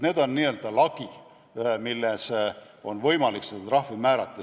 Need on n-ö lagi, mille piires on võimalik trahvi määrata.